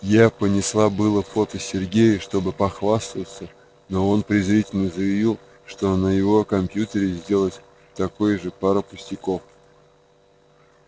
я понесла было фото сергею чтобы похвастаться но он презрительно заявил что на его компьютере сделать такое же пара пустяков